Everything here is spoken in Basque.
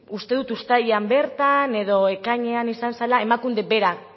uste dut uztailean bertan edo ekainean izan zela emakunde berak